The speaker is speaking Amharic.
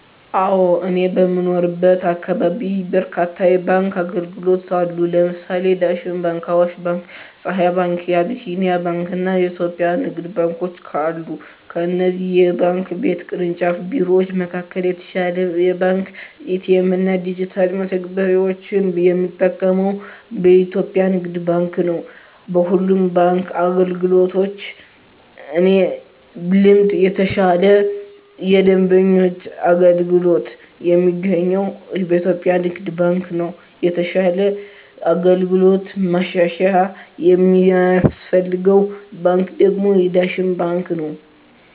አወ እኔ በምኖርበት አካባቢ በርካታ የባንክ አገልግሎት አሉ ለምሳሌ የዳሽን ባንክ :አዋሽ ባንክ :የፀሀይ ባንክ : የአቢሲኒያ ባንክ አና የኢትዮጵያ ንግድ ባንኮች አሉ ከእነዚህ የባንክ ቤት ቅርንጫፍ ቢሮወች መካከል የተሻለ የባንክ ኤ.ቲ.ኤ.ም እና ዲጅታል መተግበሪያወችን የምጠቀመው በኢትዮጵያ የንግድ ባንክ ነው። በሁሉም የባንክ አገልግሎቶች በእኔ ልምድ የተሻለ የደንበኞች አገልግሎት የሚገኘው በኢትዮጵያ ንግድ ባንክ ነው የተሻለ አገልግሎት ማሻሻያ የሚያስፈልገው ባንክ ደግሞ የዳሽን ባንክ ነው።